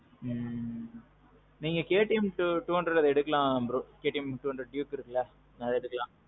ம்ம். நீங்க KTM two hundred எடுக்கலாம் bro. KTM two hundred duke இருக்குல்ல அத எடுக்கலாம்.